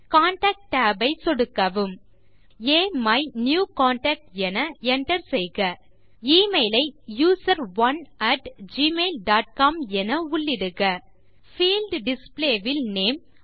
contact tab ஐ சொடுக்கவும் முதலில் அமிநியூகன்டாக்ட் என enter செய்க எமெயில் ஐ யூசரோன் அட் ஜிமெயில் டாட் காம் என உள்ளிடுக பீல்ட் டிஸ்ப்ளே இல் நேம்